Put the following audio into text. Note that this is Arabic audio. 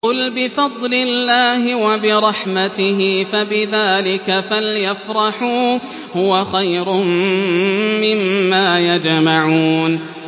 قُلْ بِفَضْلِ اللَّهِ وَبِرَحْمَتِهِ فَبِذَٰلِكَ فَلْيَفْرَحُوا هُوَ خَيْرٌ مِّمَّا يَجْمَعُونَ